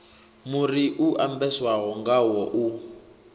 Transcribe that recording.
muri u ambeswaho ngawo u